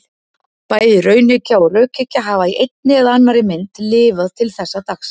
Bæði raunhyggja og rökhyggja hafa í einni eða annarri mynd lifað til þessa dags.